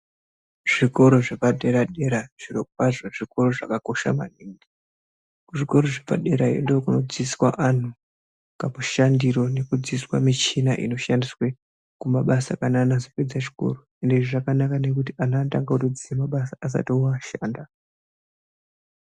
Zvikora zvepadera dera zviro kwazvo zvikora zvakakosha maningi kuzvikora zvepaderayo ndookunodzidziswa vanthu pakushandiro nekudzidziswa michina inoshandiswa kumabasa kana ana azopedza chikoro hino izvi zvakanaka nekuti ana anotanga kutoziya mabasa asati atoshanda.